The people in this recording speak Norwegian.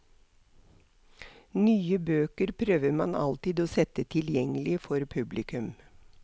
Nye bøker prøver man alltid å sette tilgjengelig for publikum.